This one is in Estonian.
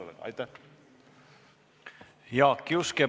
Jaak Juske, palun!